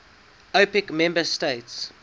opec member states